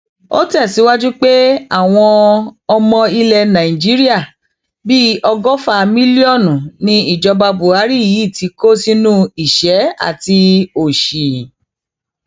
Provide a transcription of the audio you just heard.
ó tẹsíwájú pé àwọn ọmọ ilẹ nàìjíríà bíi ọgọfà mílíọnù ni ìjọba buhari yìí ti kó sínú ìṣẹ àti òsì